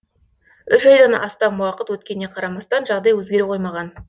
үш айдан астам уақыт өткеніне қарамастан жағдай өзгере қоймаған